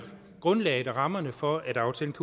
grundlaget og rammerne for at aftalen